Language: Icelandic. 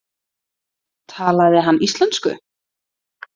Talaði hann íslensku?